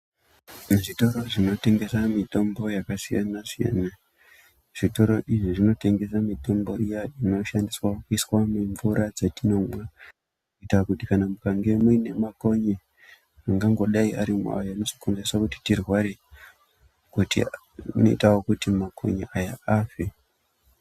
Muzvitoro zvinotengesa mitombo yakasiyana-siyana. Zvitoro izvi zvinotengesa mitombo inoshandiswa kuiswa mumvura dzatinomwa kuitira kuti kana mukange mune makonye angangodai arimwo, ayo anozokonzeresa kuti tirware inoitawo kuti makonye aya afe.